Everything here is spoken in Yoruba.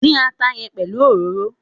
Dín ata yẹn pelu òróró!